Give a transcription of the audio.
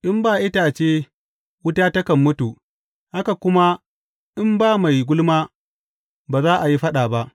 In ba itace wuta takan mutu; haka kuma in ba mai gulma ba za a yi faɗa ba.